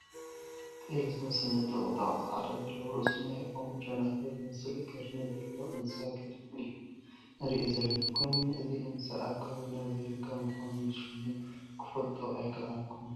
ጤል ዝመስል ነጠቑጣቕ ፃዕዳ ዘለዎ፣ ርእሱ ናይ ኦም ጨናፍር ዝመስል ቀርኒ ዘለዎ እንስሳ ገዳም እዩ ንሪኦ ዘለና፡፡ ኮይኑ ግን እዚ እንስሳ ኣብ ከባቢና ዘይርከብ ብምዃኑ ሽሙ ክፈልጦ ኣይከኣልኩን፡፡